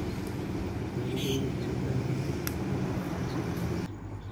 Beeraleydu waxay u baahan yihiin quud nafaqo leh xoolahooda.